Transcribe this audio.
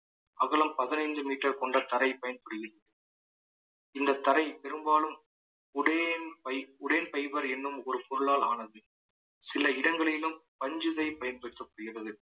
அகலம் பதினைந்து metre கொண்ட தரை பயன்படுகிறது இந்த தரை பெரும்பாலும் ஒரே fib~ ஒரே fibre என்னும் ஒரு பொருளால் ஆனது சில இடங்களிலும் பஞ்சுகை பயன்படுத்தப்படுகிறது